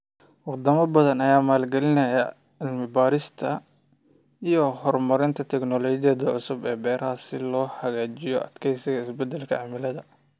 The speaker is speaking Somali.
Wadamo badan ayaa maalgelinaya cilmi baarista iyo horumarinta tignoolajiyada cusub ee beeraha si loo hagaajiyo adkeysiga isbedelka cimilada.